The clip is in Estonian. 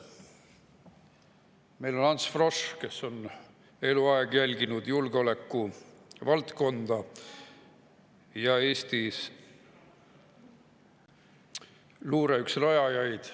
Meil on Ants Frosch, kes on eluaeg jälginud julgeolekuvaldkonda ja on Eestis luure üks rajajaid.